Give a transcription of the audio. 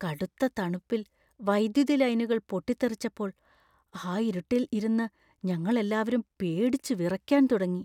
കടുത്ത തണുപ്പിൽ വൈദ്യുതി ലൈനുകൾ പൊട്ടിത്തെറിച്ചപ്പോൾ ആ ഇരുട്ടിൽ ഇരുന്ന് ഞങ്ങൾ എല്ലാവരും പേടിച്ച് വിറയ്ക്കാൻ തുടങ്ങി.